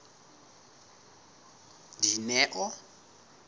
dineo